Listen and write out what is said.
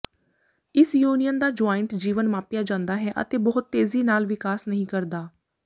ਇਸ ਯੁਨੀਅਨ ਦਾ ਜੁਆਇੰਟ ਜੀਵਨ ਮਾਪਿਆ ਜਾਂਦਾ ਹੈ ਅਤੇ ਬਹੁਤ ਤੇਜ਼ੀ ਨਾਲ ਵਿਕਾਸ ਨਹੀਂ ਕਰਦਾ